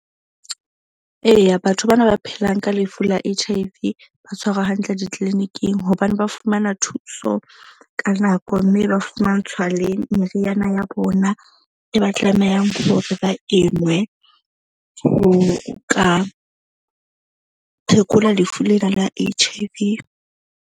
Eya, batho bana ba phelang ka lefu la H_I_V ba tshwarwa hantle di-clinic-ing hobane ba fumana thuso ka nako. Mme ba fumantshwa le meriana ya bona e ba tlamehang hore ba e nwe. Ho ka phekola lefu lena la H_I_V.